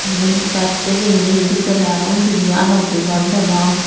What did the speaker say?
igun jatte renge e edekki de aro undi di u alok di ghor degong.